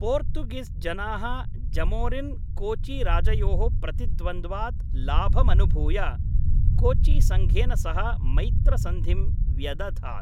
पोर्तुगिज् जनाः जमोरिन् कोचि राजयोः प्रतिद्वन्द्वात् लाभमनुभूय कोचि सङ्घेन सह मैत्रसन्धिं व्यदधात्।